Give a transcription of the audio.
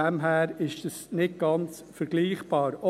Daher ist dies nicht ganz vergleichbar.